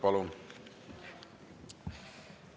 Palun!